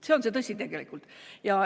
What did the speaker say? See on tõsi.